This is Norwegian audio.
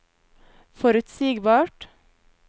forutsigbart